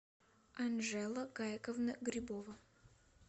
анжела гайковна грибова